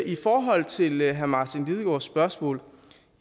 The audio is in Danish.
i forhold til herre martin lidegaards spørgsmål